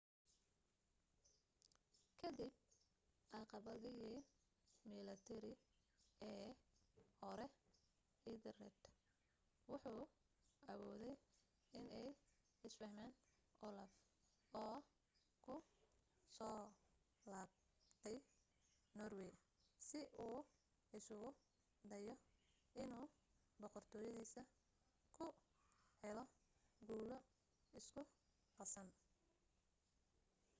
ka dib caqabadihii milatari ee hore ethelred wuxu awooday inay is fahmaan olaf oo ku soo laabtay norway si uu isugu dayo inuu boqortooyadiisa ku helo guulo isku qasan